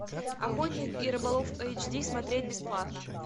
охотник и рыболов эйч ди смотреть бесплатно